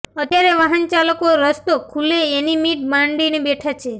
અત્યારે વાહનચાલકો રસ્તો ખૂલે એની મીટ માડીને બેઠા છે